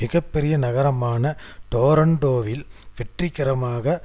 மிக பெரிய நகரமான டோரன்டோவில் வெற்றிகரமாக